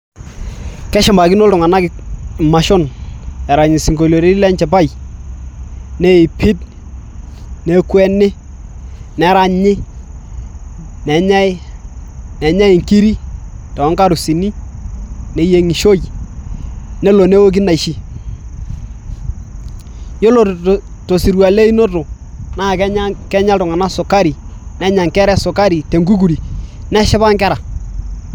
Keshumakino iltung'anak imashon erany isinkoliotin lenchipai Neipid, nekweni, neranyi, nenyai inkirik toonkarusini neyieng'ishoi nelo neoki inaishi ,yiolo tosirua leinoto naa kenya iltung'anak sukari nenya inkera esukari tenkukuri neshipa inkera.